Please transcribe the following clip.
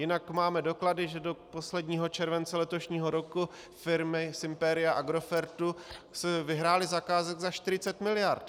Jinak máme doklady, že do posledního července letošního roku firmy z impéria Agrofertu vyhrály zakázek za 40 miliard.